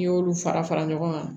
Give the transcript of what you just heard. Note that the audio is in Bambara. N'i y'olu fara fara ɲɔgɔn kan